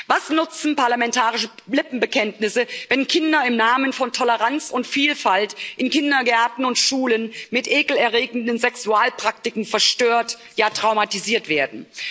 Was nutzen parlamentarische Lippenbekenntnisse, wenn Kinder im Namen von Toleranz und Vielfalt in Kindergärten und Schulen mit ekelerregenden Sexualpraktiken verstört, ja traumatisiert werden?